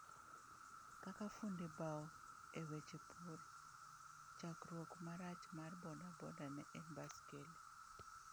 Kaka fundi bao e weche pur, chakruok marach mar bodaboda, ne en Baskeli.